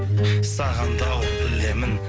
саған да ауыр білемін